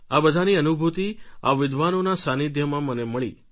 આ બધાની અનુભૂતિ આ વિદ્વાનોના સાનિધ્યમાં મને મળી